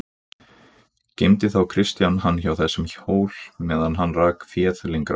Geymdi þá Kristján hann hjá þessum hól meðan hann rak féð lengra.